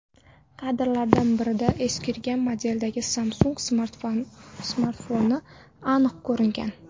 Kadrlardan birida eskirgan modeldagi Samsung smartfoni aniq ko‘ringan.